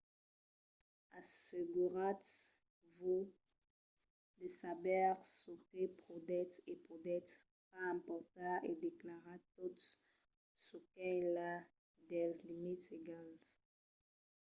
asseguratz-vos de saber çò que podètz e podètz pas emportar e declaratz tot çò qu'es enlà dels limits legals